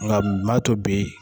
Nka mato bɛ.